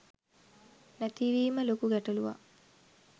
නැතිවීම ලොකු ගැටළුවක්.